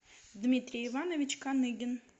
дмитрий иванович каныгин